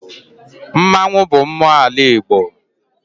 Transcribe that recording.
Mmanwụ bụ mmụọ n'ala Igbo.